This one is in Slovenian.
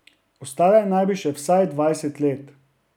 Ostale naj bi še vsaj dvajset let.